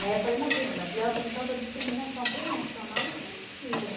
Né? afalei, imagina, diante de tanta discriminação, o Prêmio Nacional, isso é mentira.